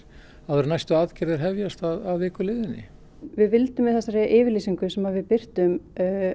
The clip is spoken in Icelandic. áður en næstu aðgerðir hefjast að viku liðinni við vildum með þessari yfirlýsingu sem við birtum